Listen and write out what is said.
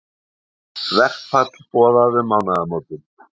Verkfall boðað um mánaðamót